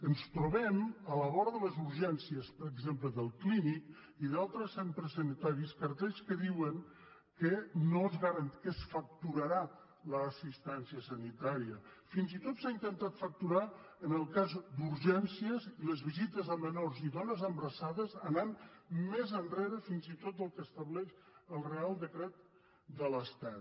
ens trobem a la vora de les urgències per exemple del clínic i d’altres centres sanitaris cartells que diuen que es facturarà l’assistència sanitària fins i tot s’ha intentat facturar en el cas d’urgències les visites a menors i dones embarassades anant més enrere fins i tot del que estableix el reial decret de l’estat